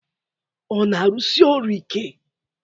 Ọ na-arụsi orụ ike?